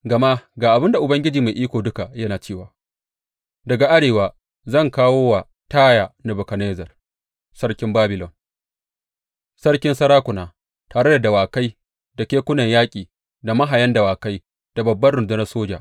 Gama ga abin da Ubangiji Mai Iko Duka yana cewa daga arewa zan kawo wa Taya Nebukadnezzar sarkin Babilon, sarkin sarakuna, tare da dawakai da kekunan yaƙi, da mahayan dawakai da babbar rundunar soja.